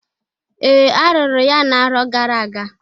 Ee! Arụrụ ya na-arọ gara aga.